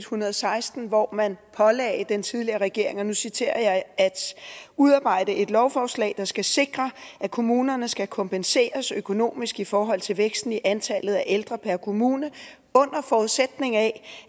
hundrede og seksten hvor man pålagde den tidligere regering og nu citerer jeg at udarbejde et lovforslag der skal sikre at kommunerne skal kompenseres økonomisk i forhold til væksten i antallet af ældre per kommune under forudsætning af